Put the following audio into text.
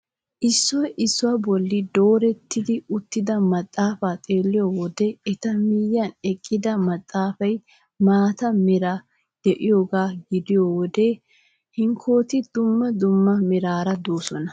Issoy issuwaa bolli doorettidi uttida maxaafaa xeelliyoo wode eta miyiyaan eqqida maxaafay maata meraara de'iyoogaa gidiyoo wode hankkooti dumma dumma meraara de'oosona.